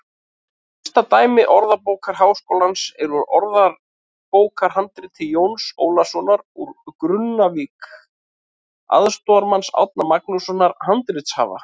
Elsta dæmi Orðabókar Háskólans er úr orðabókarhandriti Jóns Ólafssonar úr Grunnavík, aðstoðarmanns Árna Magnússonar handritasafnara.